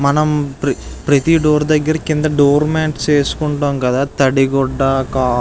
మనం ప్రతి డోర్ దగ్గర కింద డోర్ మాట్స్ వేసుకుంటాం కదా తడిగుడ్డ --